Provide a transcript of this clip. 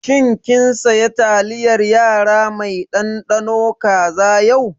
Shin kin saya taliyar yara mai ɗanɗano kaza yau?